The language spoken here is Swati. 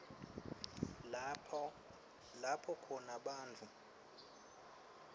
lapho khona bantfu